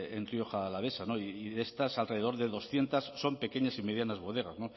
en rioja alavesa y de estas alrededor de doscientos son pequeñas y medianas bodegas